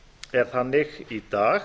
er þannig í dag